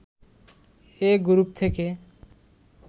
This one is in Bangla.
এ গ্রুপ থেকে